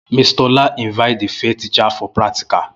Mr Ola will Invite the fair teacher for practical